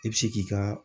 I bɛ se k'i ka